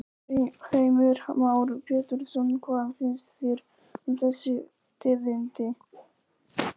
Heimir Már Pétursson: Hvað finnst þér um þessi tíðindi?